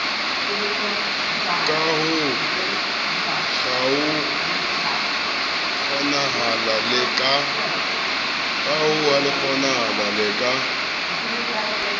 ka ho kgaokgaoha le ka